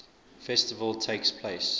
festival takes place